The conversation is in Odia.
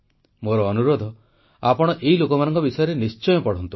ମୋର ଅନୁରୋଧ ଆପଣ ଏଇ ଲୋକମାନଙ୍କ ବିଷୟରେ ନିଶ୍ଚୟ ପଢ଼ନ୍ତୁ